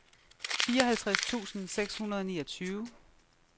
fireoghalvtreds tusind seks hundrede og niogtyve